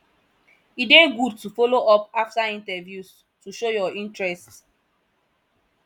e dey good to follow up after interviews to show your interest